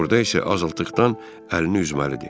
Orada isə azadlıqdan əlini üzməli idi.